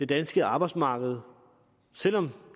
danske arbejdsmarked selv om